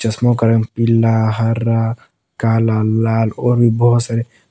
का रंग पिला हरा काला लाल और भी बहुत सारे।